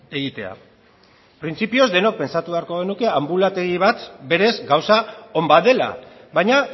egitea printzipioz denok pentsatu beharko genuke anbulategi bat berez gauza on bat dela baina